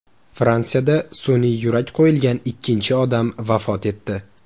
Fransiyada sun’iy yurak qo‘yilgan ikkinchi odam vafot etdi.